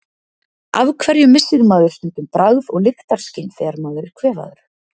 Af hverju missir maður stundum bragð- og lyktarskyn þegar maður er kvefaður?